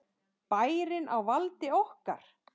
Bærinn á valdi okkar!